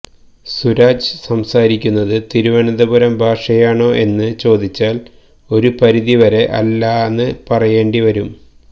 സുരാജ് സംസാരിക്കുന്നത് തിരുവനന്തപുരം ഭാഷയാണോ എന്ന് ചോദിച്ചാൽ ഒരുപരിധി വരെ അല്ലാന്ന് പറയേണ്ടി വരും